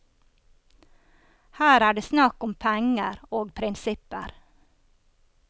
Her er det snakk om penger og prinsipper.